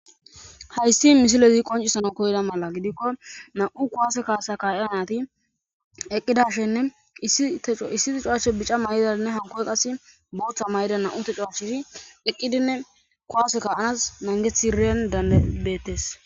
hayssi misilezi qoncissana koyda mala gidikko nam'u kowaase kaasa ka'iya nati eqqidashenne issi tecewache bica mayidanne hanko qase booththa mayida nam'u tecewacheti eqqidinne kuwase ka'anas nangetidi beetteetes